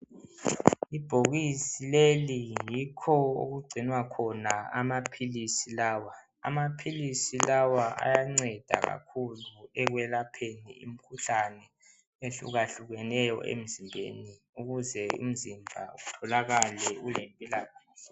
Ibhokisi leli yikho okugcinwa khona amaphilisi lawa, amaphilisi lawa ayanceda kakhulu ekwelapheni imikhuhlane ehlukahlukeneyo emzimbeni, ukuze umzimba utholakale ulempilakahle.